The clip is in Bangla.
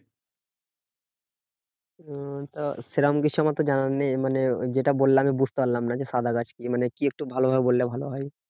সেরম কিছু আমার তো জানা নেই মানে যেটা বললে আমি বুঝতে পারলাম না। যে সাদা গাছ কি? মানে কি একটু ভালো ভাবে বললে ভালো হয়।